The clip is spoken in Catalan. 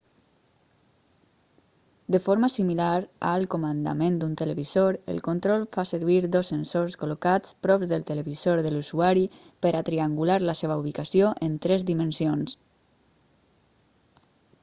de forma similar al comandament d'un televisor el control fa servir 2 sensors col·locats prop del televisor de l'usuari per a triangular la seva ubicació en 3 dimensions